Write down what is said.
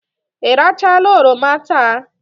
Ị rachaala oroma taa?